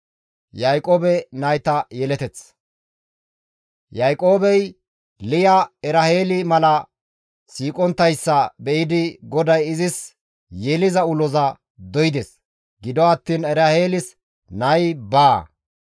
Yaaqoobey Liya Eraheeli mala siiqonttayssa be7idi GODAY izis yeliza uloza doydes; gido attiin Eraheelis nay baa.